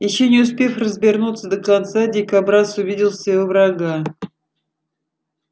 ещё не успев развернуться до конца дикобраз увидел своего врага